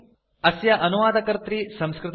अस्य प्रवाचकः देहली तः लक्ष्मीनरसिंह अस्ति